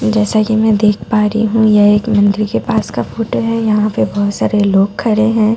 जैसा कि मैं देख पा रही हूं यह एक मंदिर के पास का फोटो है यहां पे बहुत सारे लोग खड़े हैं।